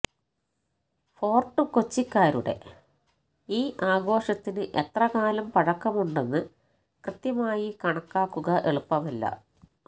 Fort കൊച്ചിക്കാരുടെ ഈ ആഘോഷത്തിന് എത്രകാലം പഴക്കമുണ്ടെന്ന് കൃത്യമായി കണക്കാകുക എളുപ്പമല്ല